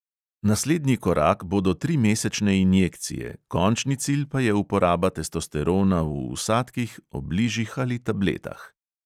Naslednji korak bodo trimesečne injekcije, končni cilj pa je uporaba testosterona v vsadkih, obližih ali tabletah.